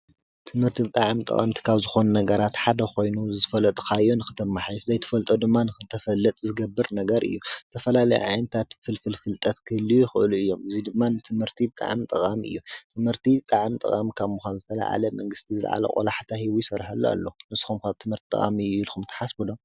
ትምህርቲ ብጣዕሚ ጠቀምቲ ካብ ዝኮኑ ነገራት ሓደ ኮይኑ ዝፈልጦን ክትማሓይሽ ዘይትፈልጦ ምድማ ንክትፈልጥ ዝገብር ነገር እዩ፡፡ ቡዝሕ ናይ ዓይኒታት ፍልፍል ፍልጠት ክህልዉ ይክእሉ እዮም እዚ ድማ ንትምህርቲ ብጣዕሚ ጠቃሚ ክህልዩ ይክእሉ እዮም፡፡ ትምህርቲ ብጣዕሚ ጠቃሚ ካብ ምኮኑ መንግስቲ ዝለኦኣለ ቆላሕታ ሂቡ ይሰርሐሉ ኣሎ። ንስኩም ከጠቃሚ ምካኑ ትሓስቡ ዶ?